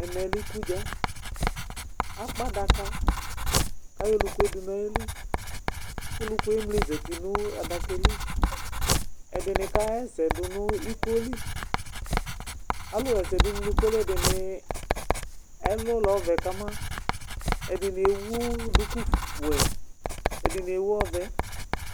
ɛmɛ lɛ iku dza , akpa adaka, ku ayɔ olukue du nu ayili, ku olukue emli zati nu adakaɛ li, ɛdini kaɣa ɛsɛ nu iko li , alu ɣa ɛsɛ du nu iko li ɛdini ɛlu lɛ ɔvɛ kama, ɛdini ewu duku wɛ, ɛdini ewu ɔvɛ